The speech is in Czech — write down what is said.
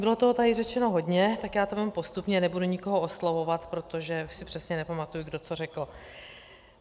Bylo toho tady řečeno hodně, tak já to vezmu postupně, nebudu nikoho oslovovat, protože si přesně nepamatuji, kdo co řekl.